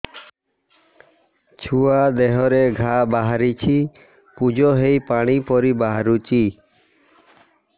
ଛୁଆ ଦେହରେ ଘା ବାହାରିଛି ପୁଜ ହେଇ ପାଣି ପରି ବାହାରୁଚି